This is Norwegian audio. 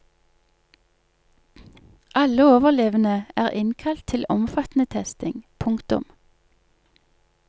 Alle overlevende er innkalt til omfattende testing. punktum